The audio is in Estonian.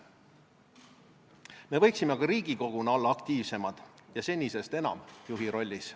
Me võiksime ka Riigikoguna olla aktiivsemad ja senisest enam juhi rollis.